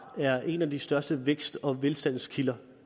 er en af de største vækst og velstandskilder